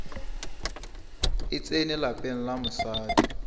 e tsene lapeng la mosadi